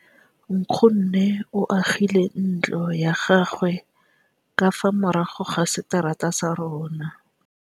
Nkgonne o agile ntlo ya gagwe ka fa morago ga seterata sa rona.